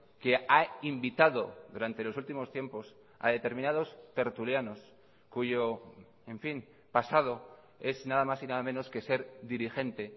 que ha invitado durante los últimos tiempos a determinados tertulianos cuyo en fin pasado es nada más y nada menos que ser dirigente